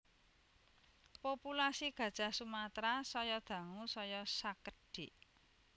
Populasi Gajah Sumatra saya dangu saya sakedhik